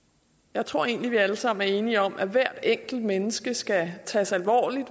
jeg tror egentlig at vi alle sammen er enige om at hver enkelt menneske skal tages alvorligt at